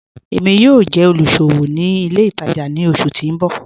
Èmi yóò jẹ́ olúṣọwò ní ilẹ̀ ìtaja ni ọṣù tì n bọ̀.